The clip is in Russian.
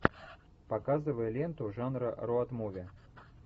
показывай ленту жанра роуд муви